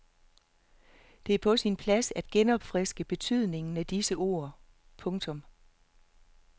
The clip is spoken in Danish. Det er på sin plads at genopfriske betydningen af disse ord. punktum